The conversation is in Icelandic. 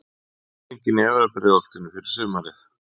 Hvernig er stemningin í efra Breiðholtinu fyrir sumarið?